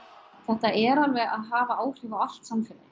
þetta er alveg að hafa áhrif á allt samfélagið